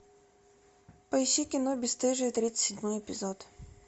поищи кино бесстыжие тридцать седьмой эпизод